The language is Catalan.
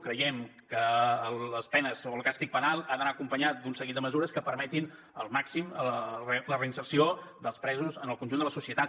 creiem que les penes o el càstig penal ha d’anar acompanyat d’un seguit de mesures que permetin al màxim la reinserció dels presos en el conjunt de la societat